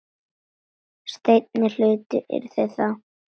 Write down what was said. Seinni hlutinn yrði þá